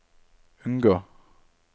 unngå